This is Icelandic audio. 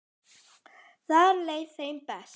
Þar leið þeim best.